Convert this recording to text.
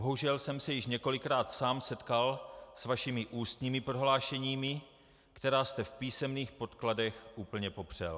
Bohužel jsem se již několikrát sám setkal s vašimi ústními prohlášeními, která jste v písemných podkladech úplně popřel.